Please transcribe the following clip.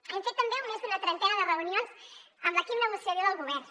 hem fet també més d’una trentena de reunions amb l’equip negociador del govern